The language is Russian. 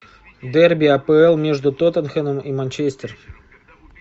дерби апл между тоттенхэм и манчестер